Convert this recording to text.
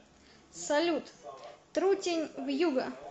салют трутень вьюга